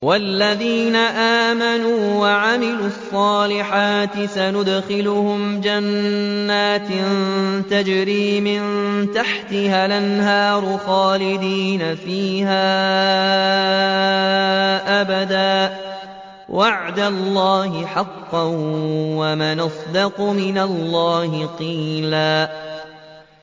وَالَّذِينَ آمَنُوا وَعَمِلُوا الصَّالِحَاتِ سَنُدْخِلُهُمْ جَنَّاتٍ تَجْرِي مِن تَحْتِهَا الْأَنْهَارُ خَالِدِينَ فِيهَا أَبَدًا ۖ وَعْدَ اللَّهِ حَقًّا ۚ وَمَنْ أَصْدَقُ مِنَ اللَّهِ قِيلًا